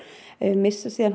missa síðan